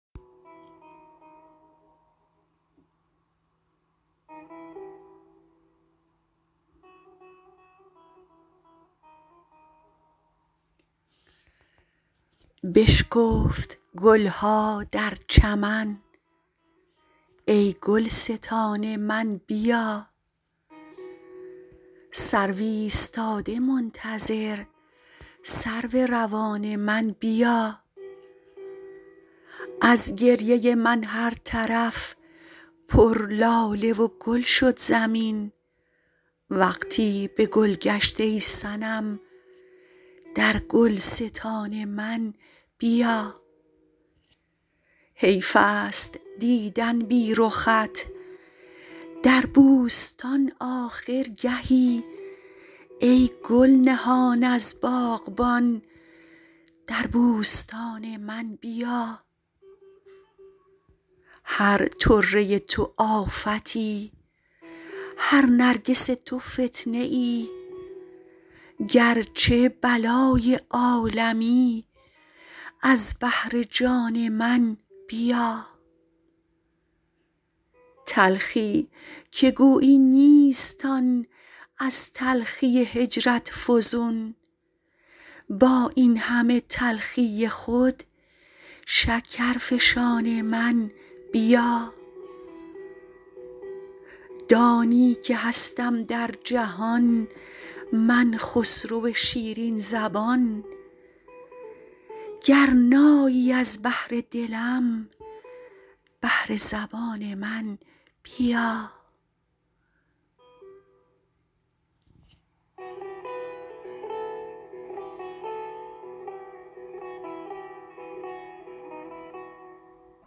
بشکفت گل ها در چمن ای گلستان من بیا سرو ایستاده منتظر سرو روان من بیا از گریه من هر طرف پر لاله و گل شد زمین وقتی به گلگشت ای صنم در گلستان من بیا حیف است دیدن بی رخت در بوستان آخر گهی ای گل نهان از باغبان در بوستان من بیا هر طره تو آفتی هر نرگس تو فتنه ای گرچه بلای عالمی از بهر جان من بیا تلخی که گویی نیست آن از تلخی هجرت فزون با این همه تلخی خود شکرفشان من بیا دانی که هستم در جهان من خسرو شیرین زبان گر نایی از بهر دلم بهر زبان من بیا